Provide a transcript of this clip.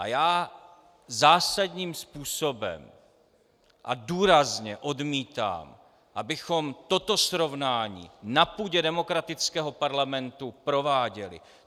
A já zásadním způsobem a důrazně odmítám, abychom toto srovnání na půdě demokratického parlamentu prováděli.